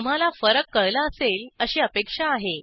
तुम्हाला फरक कळला असेल अशी अपेक्षा आहे